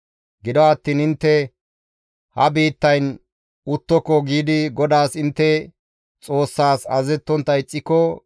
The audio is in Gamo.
«Gido attiin intte, ‹Ha biittayn uttoko› giidi GODAAS intte Xoossas azazettontta ixxiko,